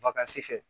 fɛ